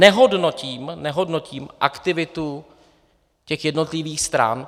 Nehodnotím aktivitu těch jednotlivých stran.